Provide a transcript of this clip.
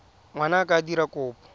ngwana a ka dira kopo